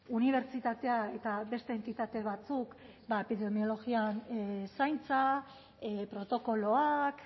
unibertsitatea eta beste entitate batzuk epidemiologian zaintza protokoloak